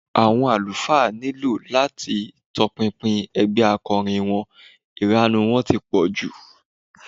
Àwọn àlùfáà nílò láti tọpinpin ẹgbẹ́ akọrin wọn, ìranù wọn ti pọ̀ jù